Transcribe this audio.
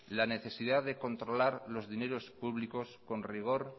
la necesidad de controlar los dineros públicos con rigor